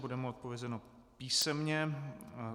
Bude mu odpovězeno písemně.